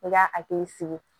I ka hakili sigi